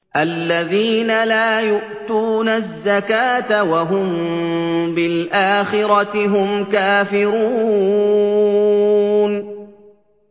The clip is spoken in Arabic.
الَّذِينَ لَا يُؤْتُونَ الزَّكَاةَ وَهُم بِالْآخِرَةِ هُمْ كَافِرُونَ